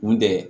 Mun tɛ